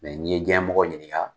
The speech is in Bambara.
Mɛ n'i ye diɲɛ mɔgɔ ɲinika